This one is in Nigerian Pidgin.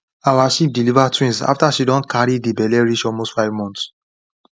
our sheep deliver twins after she don carry the belle reach almost five months